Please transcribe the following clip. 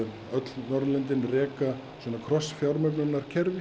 öll Norðurlöndin reka svona